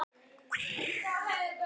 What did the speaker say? Skiptir það þig engu máli?